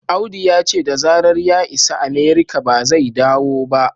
Audu ya ce da zarar ya isa Amerika ba zai dawo ba